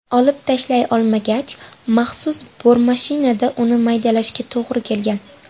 Olib tashlay olmagach, maxsus bormashinada uni maydalashga to‘g‘ri kelgan.